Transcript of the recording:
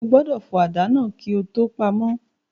O gbọdọ̀ fọ àdá náà kí o tó ko pamọ́.